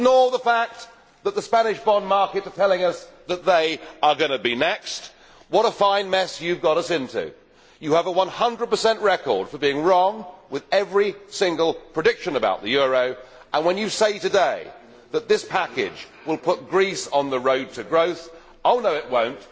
We must ignore the fact that the Spanish bond market is telling us that they are going to be next. What a fine mess you have got us into. You have a 100 record for being wrong with every single prediction about the euro and you say today that this package will put Greece on the road to growth, but no it won't.